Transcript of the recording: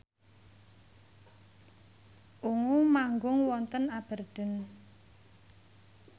Ungu manggung wonten Aberdeen